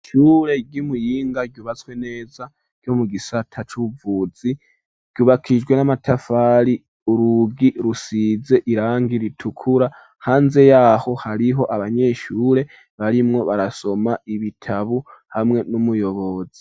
Ishure ryi Muyinga ryubatswe neza ryo mu gisata c'ubuvuzi ryubakijwe n'amatafari urugi rusize irangi ritukura hanze yaho hariho abanyeshure barimwo barasoma ibitabu hamwe n'umuyobozi.